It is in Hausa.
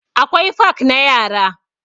Akwai fak na yara.